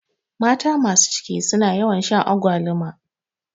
Mata masu ciki suna yawan shan agwaluma